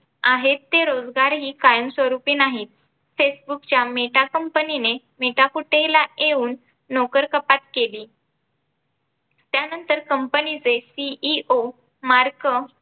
आहेत ते रोजगारही कायमस्वरूपी नाहीत. Facebook च्या Meta company ने मेटाकुटीला येऊन नोकरकपात केली. त्यानंतर कंपनी चे CEO Mark